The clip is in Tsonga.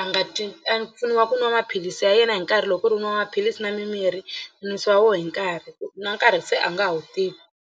a nga twi a pfuniwa ku nwa maphilisi ya yena hi nkarhi loko ku ri u nwa maphilisi na mimirhi nwisiwa wona hi nkarhi na nkarhi se a nga ha wu tivi.